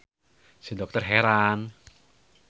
Si dokter heran.